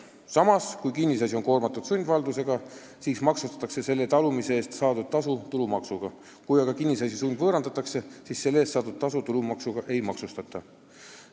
Samas, kui kinnisasi on koormatud sundvaldusega, siis maksustatakse selle talumise eest saadud tasu tulumaksuga, kui aga kinnisasi sundvõõrandatakse, siis selle eest saadud tasu tulumaksuga ei maksustata.